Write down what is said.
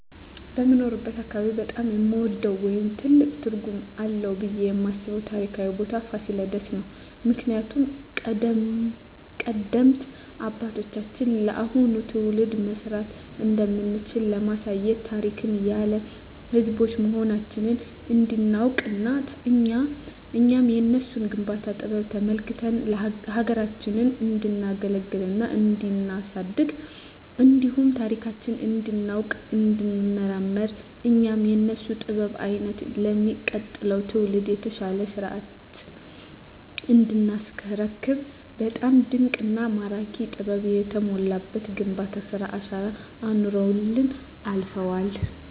በምኖርበት አካባቢ በጣም የምወደው ወይም ትልቅ ትርጉም አለዉ ብየ የማስበው ታሪካዊ ቦታ ፋሲለደስ ነው። ምክንያቱም ቀደምት አባቶቻችን ለአሁኑ ትውልድ መስራት እንደምንችል ለማሳየት ታሪክ ያለን ህዝቦች መሆናችንን እንዲናውቅና እኛም የነሱን የግንባታ ጥበብ ተመልክተን ሀገራችንን እንዲናገለግልና እንዲናሳድግ እንዲሁም ታሪካችንን እንዲናውቅ እንዲንመራመር እኛም የነሱን ጥበብ አይተን ለሚቀጥለው ትውልድ የተሻለ ሰርተን እንዲናስረክብ በጣም ድንቅና ማራኪ ጥበብ የተሞላበት የግንባታ ስራ አሻራ አኑረውልን አልፈዋል።